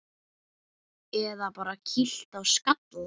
Eða bara kýlt á skalla!